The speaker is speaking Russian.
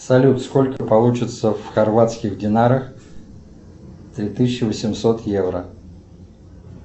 салют сколько получится в хорватских динарах три тысячи восемьсот евро